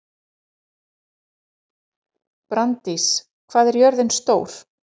Branddís, hvað er jörðin stór?